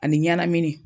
Ani ɲɛnamini